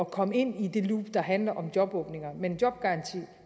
komme ind i det loop der handler om jobåbninger men en jobgaranti